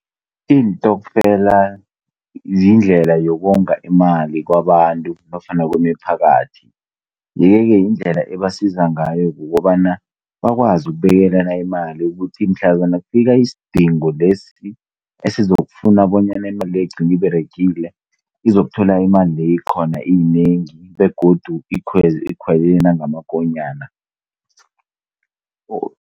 iintokfela ziyindlela yokonga imali kwabantu nofana kwemiphakathi. Le-ke, yindlela ebasiza ngayo yokobana bakwazi ukubekelana imali ukuthi mhlazana kufika isidingo lesi esizokufuna bonyana imali leyoigcine iberegile, izokutholakala imalile ikhona iyinengi begodu ikwele nangamakonyana.